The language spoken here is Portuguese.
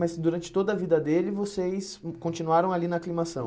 Mas durante toda a vida dele, vocês hum continuaram ali na aclimação?